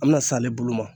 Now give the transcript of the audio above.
An bɛna s'ale bolo ma